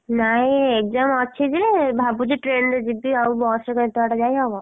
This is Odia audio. ନାଇଁ exam ଅଛି ଯେ ଭାବୁଛି train ରେ ଯିବି ଆଉ ବସ୍ ରେ କଣ ଏତେ ବାଟ ଯାଇହବ?